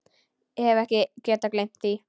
Hef ekki getað gleymt því.